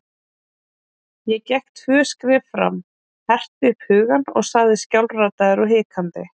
Ég gekk tvö skref fram, herti upp hugann og sagði skjálfraddaður og hikandi